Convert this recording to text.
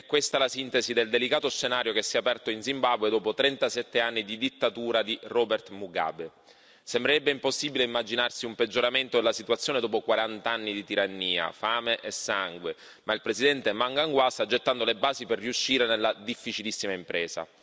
È questa la sintesi del delicato scenario che si è aperto in Zimbabwe dopo 37 anni di dittatura di Robert Mugabe. Sembrerebbe impossibile immaginarsi un peggioramento della situazione dopo quarant'anni di tirannia, fame e sangue, ma il presidente Mnangagwa sta gettando le basi per riuscire nella difficilissima impresa.